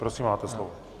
Prosím, máte slovo.